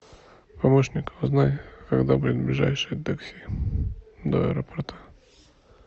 помощник узнай когда будет ближайшее такси до аэропорта